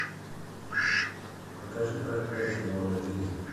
покажи проклятие моны лизы